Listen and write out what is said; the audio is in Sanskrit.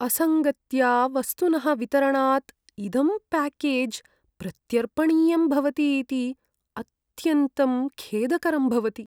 असङ्गत्या वस्तुनः वितरणात् इदं प्याकेज् प्रत्यर्पणीयं भवति इति अत्यन्तं खेदकरं भवति।